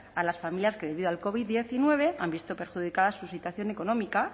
a las familias que debido al covid diecinueve han visto perjudicada su situación económica